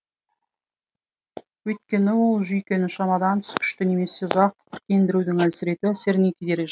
өйткені ол жүйкені шамадан тыс күшті немесе ұзақ тітіркендірудің әлсірету әсеріне кедергі